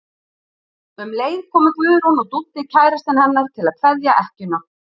Um leið komu Guðrún og Dúddi kærastinn hennar til að kveðja ekkjuna.